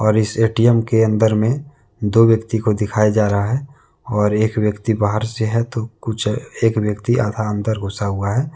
और इस ए_टी_एम के अंदर में दो व्यक्ति को दिखाया जा रहा है और एक व्यक्ति बाहर से है तो कुछ एक व्यक्ति आधा अंदर घुसा हुआ है।